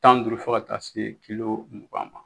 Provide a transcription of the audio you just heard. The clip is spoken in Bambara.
Tan ni duuru fɔ ka taa se kilo mugan ma.